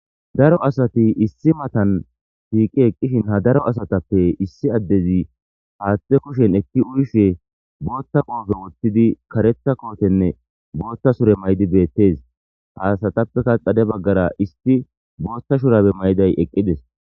daro asati issi matan shiiqi eqqishin ha daro asatappe issi addezi haaththe kushen ekki uyshe bootta qoofe wottidi kareta kootenne bootta sure maydi beettees ha asatappeka xade baggara isti bootta shurabe mayiday eqqides